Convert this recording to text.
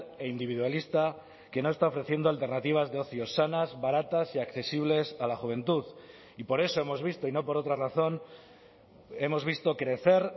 e individualista que no está ofreciendo alternativas de ocio sanas baratas y accesibles a la juventud y por eso hemos visto y no por otra razón hemos visto crecer